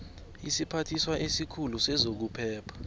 isiphathiswa esikhulu sezokuphepha